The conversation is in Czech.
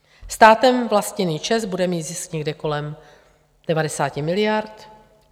Státem vlastněný ČEZ bude mít zisk někde kolem 90 miliard.